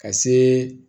Ka se